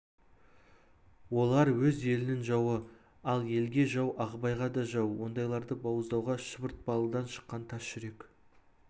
олар өз елінің жауы ал елге жау ағыбайға да жау ондайларды бауыздауға шұбыртпалыдан шыққан тас жүрек